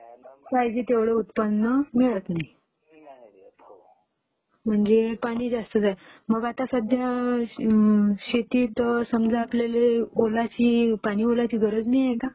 पाहिजे तेव्हढं उत्पन्न मिळत नाही..